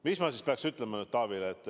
Mis ma peaks ütlema Taavile?